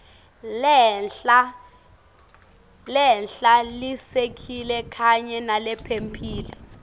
lehlalisekile kanye nalephephile